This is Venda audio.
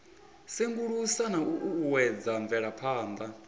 sengulusa na u uuwedza mvelaphana